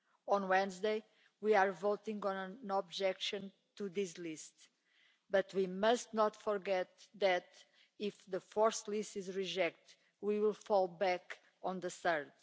On Wednesday we are voting on an objection to this list, but we must not forget that if the fourth list is rejected, we will fall back on the third.